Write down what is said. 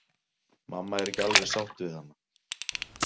Mamma er ekki alveg sátt við hana.